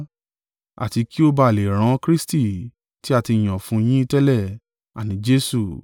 àti kí ó ba à lè rán Kristi tí a ti yàn fún yín tẹlẹ̀: àní Jesu.